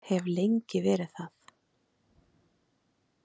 Hef lengi verið það.